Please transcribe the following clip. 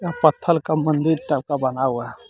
यह पत्थर का मंदिर टाइप का बना हुआ है.